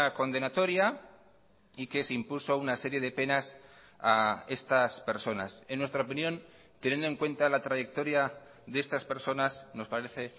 condenatoria y que se impuso una serie de penas a estas personas en nuestra opinión teniendo en cuenta la trayectoria de estas personas nos parece